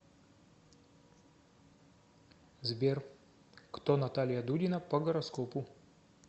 сбер кто наталья дудина по гороскопу